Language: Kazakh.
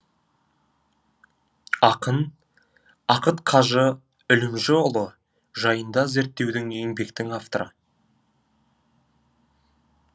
ақын ақыт қажы үлімжіұлы жайында зерттеудің еңбектің авторы